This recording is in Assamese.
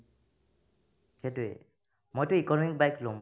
সেটোয়ে মইটো economic bike ল'ম ।